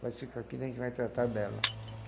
Pode ficar aqui que a gente vai tratar dela.